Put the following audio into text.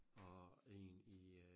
Og én i øh